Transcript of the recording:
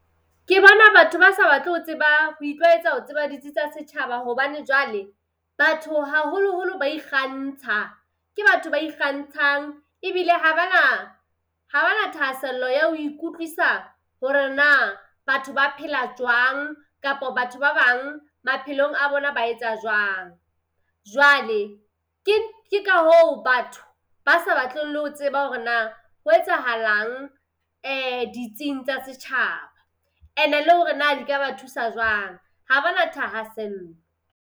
Ke bona batho ba sa batle ho tseba ho itlwaetsa ho tseba ditsi tsa setjhaba hobane jwale, batho haholoholo ba ikgantsha. Ke batho ba ikgantshang ebile ha ba na ha ba na thahasello ya ho ikutlwisa hore na batho ba phela jwang kapo batho ba bang maphelong a bona, ba etsa jwang. Jwale ke ke ka hoo batho ba sa batleng le ho tseba hore na ho etsahalang ditsing tsa setjhaba. Ene le hore na di ka ba thusa jwang, ha bana thahasello.